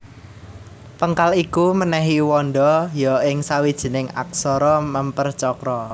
Péngkal iku mènèhi wanda ya ing sawijining aksara mèmper cakra